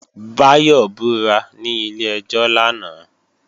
Báyọ̀ búra ní ilé-ẹjọ́ lánàá